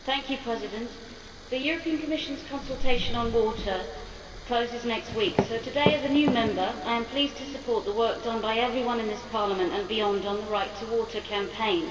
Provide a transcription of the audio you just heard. Mr President, the Commission's consultation on water closes next week so today, as a new Member, I am pleased to support the work done by everyone in this Parliament and beyond on the Right to Water Campaign.